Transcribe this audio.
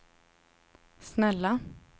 snälla